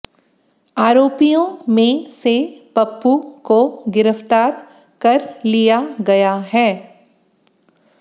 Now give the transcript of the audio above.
आरोपियों में से पप्पू को गिरफ्तार कर लिया गया है